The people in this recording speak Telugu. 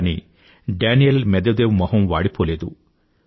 కానీ డానీల్ మేద్వేదేవ్ మొహం వాడిపోలేదు